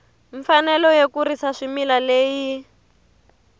mfanelo yo kurisa swimila leyi